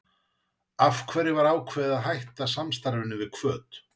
Af hverju var ákveðið að hætta samstarfinu við Hvöt?